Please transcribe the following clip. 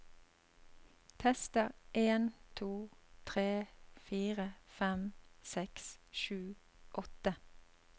Tester en to tre fire fem seks sju åtte